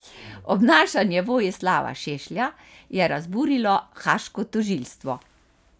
Obnašanje Vojislava Šešlja je razburilo haaško tožilstvo.